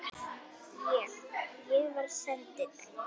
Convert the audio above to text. Ég. ég var sendill